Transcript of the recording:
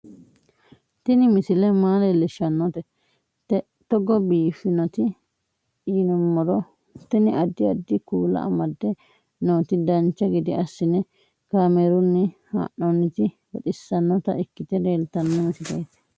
Tini misile maa leellishshannote togo biiffinoti yinummoro tini. addi addi kuula amadde nooti dancha gede assine kaamerunni haa'noonniti baxissannota ikkite leeltanno misileeti